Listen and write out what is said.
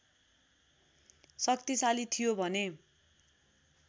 शक्तिशाली थियो भने